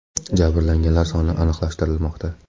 Jabrlanganlar soni aniqlashtirilmoqda.